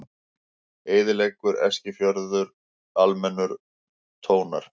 Eyðileggur Eskifjörð, almenningur tónar